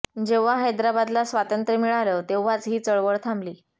जेव्हा हैदराबादला स्वातंत्र्य मिळालं तेव्हाच ही चळवळ थांबली